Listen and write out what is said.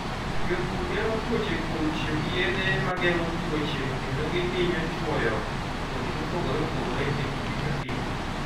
Jopur geng'o tuoche kuom tiyo gi yedhe ma geng'o tuoche kendo gihinyo chwoyo kodhi mopogore opogore e kinde ka kinde.